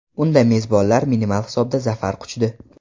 Unda mezbonlar minimal hisobda zafar quchdi.